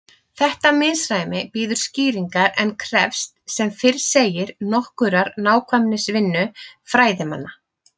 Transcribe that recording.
Þetta misræmi bíður skýringar en krefst sem fyrr segir nokkurrar nákvæmnisvinnu fræðimanna.